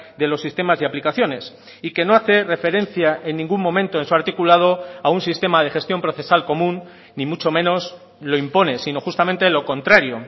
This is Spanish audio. de los sistemas y aplicaciones y que no hace referencia en ningún momento en su articulado a un sistema de gestión procesal común ni mucho menos lo impone sino justamente lo contrario